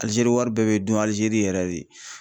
Alizeri wari bɛɛ bɛ dun Alizeri yɛrɛ de.